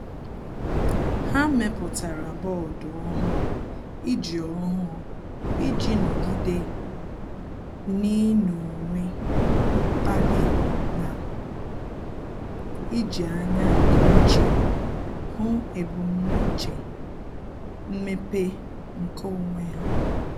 Há mèpụ̀tárà bọọdụ ọ́hụ́ụ iji ọ́hụ́ụ iji nọ́gídé n’ị́nọ́wé mkpali na íjí ányá nke úchè hụ́ ebumnuche mmepe nke onwe ha.